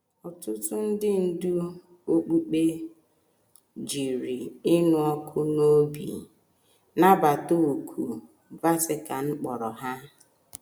Ọtụtụ ndị ndú okpukpe jiri ịnụ ọkụ n’obi nabata òkù Vatican kpọrọ ha.